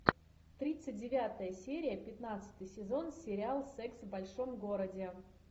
тридцать девятая серия пятнадцатый сезон сериал секс в большом городе